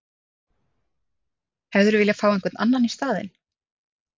Hefðirðu vilja fá einhvern annan í staðinn?